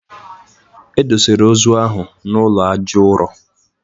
E dosere ozu ahụ n'ụlọ aja ụrọ